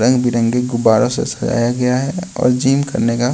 रंगबिरंगे गुबारो से सजाया गया है और जीम करने का--